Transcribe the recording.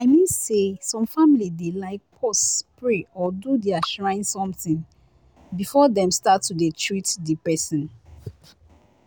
i mean say some family dey like pause pray or do their shrine somtin before dem start to dey treat di pesin.